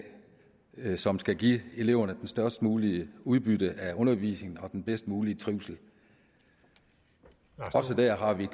som skal give eleverne det størst mulige udbytte af undervisningen og den bedst mulige trivsel også dér har vi